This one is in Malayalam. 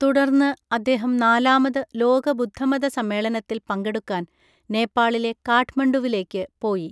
തുടർന്ന് അദ്ദേഹം നാലാമത് ലോക ബുദ്ധമത സമ്മേളനത്തിൽ പങ്കെടുക്കാൻ നേപ്പാളിലെ കാഠ്മണ്ഡുവിലേക്ക് പോയി.